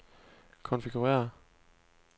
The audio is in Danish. konfigurér